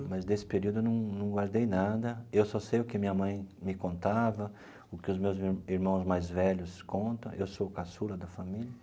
Mas desse período eu num num guardei nada, eu só sei o que minha mãe me contava, o que os meus irmãos mais velhos conta, eu sou caçula da família.